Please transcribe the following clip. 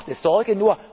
Mir macht